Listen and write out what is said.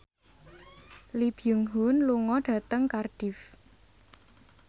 Lee Byung Hun lunga dhateng Cardiff